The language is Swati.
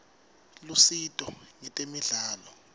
lusito ngetemidlalo